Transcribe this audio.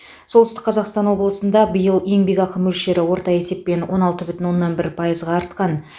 солтүстік қазақстан облысыныңда биыл еңбекақы мөлшері орта есеппен он алты бүтін оннан бір пайызға артқан